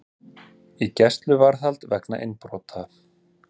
Í gæsluvarðhald vegna innbrota